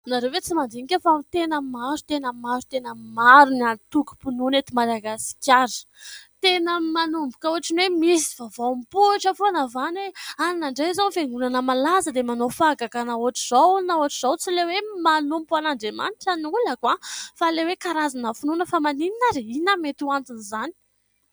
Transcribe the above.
anareo e tsy mandinika fa ho tenany maro tena y maro tenay maro ny anytokom-pinoana ety madagasikara tena y manomboka hoatriny hoe misy y vavaom-pohitra foa navana anina andray izao ny fiangonana malaza dia manao fahagakanahoatra izao naho atra izao tsy ileo hoe manompo an'andriamanitra ny olako aho fa leo hoe karazana finoana fa maninina ry iona mety ho antony izany